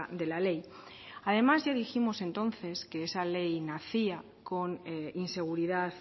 de la ley además ya dijimos entonces que esa ley nacía con inseguridad